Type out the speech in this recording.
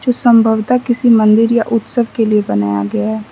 संभवत किसी मंदिर या उत्सव के लिए बनाया गया --